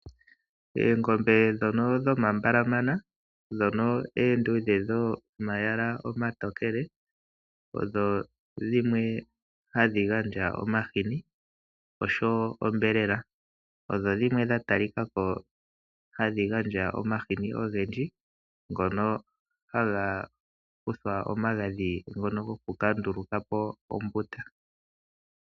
Eengombe ndhono dhomambalamana, ndhono eenduudhe dhomayala omatokele, odho dhimwe hadhi gandja omahini, oshowo onyama. Odho dhimwe dha talikako hadhi gandja omahini ogendji, ngono haga kuthwa omagadhi ngono gokukandulukapo ombuta.